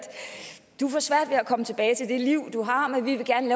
komme tilbage til det liv du har men vi vil gerne